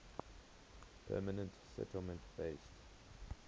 permanent settlement based